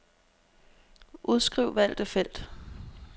Udskriv valgte felt.